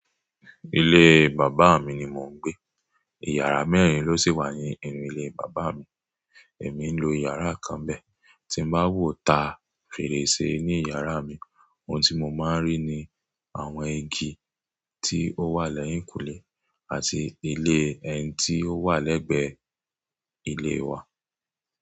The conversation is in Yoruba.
Ilé bàbá mi ni mò ń gbé. Ìyàrá mẹ́rin ló sì wà ni inú ilé bàbá mi. Èmi ń lo ìyàrá kan bẹ́ẹ̀. Tí n bá wo ta fèrèsé ní ìyàrá mi, ohun tí mò máa ń rí ni àwọn igi tí ó wà lẹ́yìnkùnlé àti ilé ẹni tí ó wà lẹ́gbẹ̀ẹ́ ilé wa.